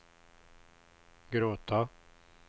gråta